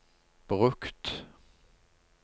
brukt